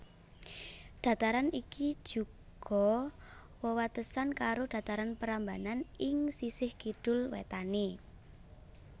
Dhataran ikijuga wewatesan karo Dhataran Prambanan ing sisih kidul wétané